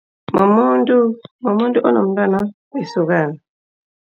Mumuntu onomntwana olisokana.